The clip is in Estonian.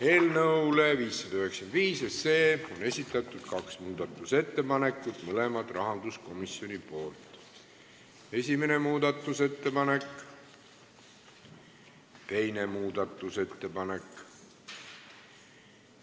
Eelnõu 595 kohta on esitatud kaks muudatusettepanekut, mõlemad rahanduskomisjonilt: esimene muudatusettepanek, teine muudatusettepanek.